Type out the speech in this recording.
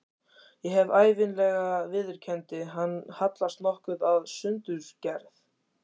Ég hef ævinlega viðurkenndi hann, hallast nokkuð að sundurgerð